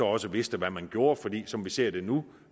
også vidste hvad man gjorde for som vi ser det nu